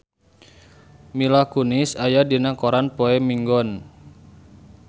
Mila Kunis aya dina koran poe Minggon